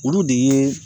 Olu de ye